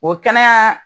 O kɛnɛya